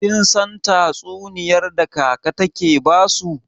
Kin san tatsuniyar da kaka take basu?